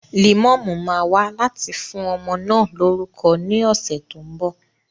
Lẹ̀mọ́mú máa wá láti fún ọmọ náà lórúkọ ní ọ̀sẹ̀ tó ń bọ̀